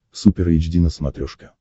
супер эйч ди на смотрешке